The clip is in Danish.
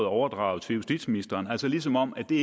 overdraget til justitsministeren altså ligesom om at det